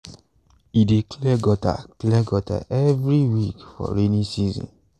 e dey clear gutter clear gutter every week for rainy season.